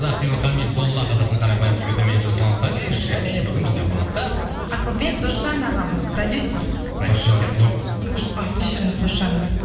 ақбибі хамидолла қазақтың қарапайым жігіті мен жасұлан қали және бүгін бізде қонақта ақылбек досжан ағамыз продюссер досжанов а кешіріңіз досжанов